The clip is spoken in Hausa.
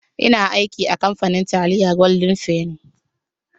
Ina aiki a kamfanin taliyar golden fenny.